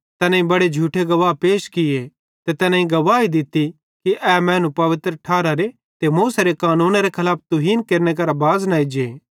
तैनेईं बड़े झूठे गवाह पैश किये ते तैनेईं गवाही दित्ती कि ए मैनू पवित्र ठारारे ते मूसेरे कानूनेरे खलाफ तुहीन केरने करां बाज़ न एज्जे